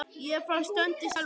Ég er frá Strönd í Selvogi.